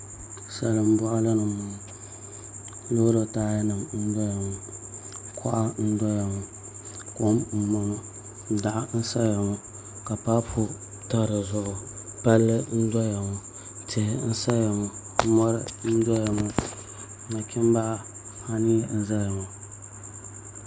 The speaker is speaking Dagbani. Salin boɣali ni n boŋo loori taaya nim n doya ŋo kuɣa n doya ŋo kom n boŋo doɣu n saya ŋo ka paabu pa dizuɣu palli n doya ŋo tihi n saya ŋo mori n doya ŋo nachimbi anii n ʒɛya ŋo